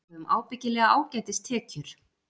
Við höfum ábyggilega ágætis tekjur